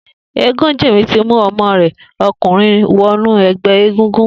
Egunjimi ti mú ọmọ rè ọkunrin wọnú ẹgbẹ égúngún